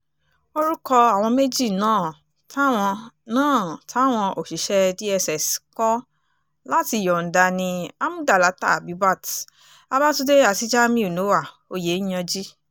orúkọ àwọn méjì náà táwọn náà táwọn òṣìṣẹ́ dss kọ láti yọ̀ǹda ni amúdàláta abibat babakundé àti jamiu noah oyenyanji